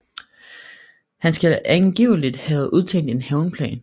Han skal angiveligt have udtænkt en hævnplan